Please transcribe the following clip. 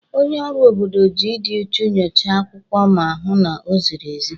Onye ọrụ obodo ji ịdị uchu nyochaa akwụkwọ ma hụ na oziri ezi.